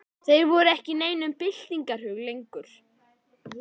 Þeir voru ekki í neinum byltingarhug lengur.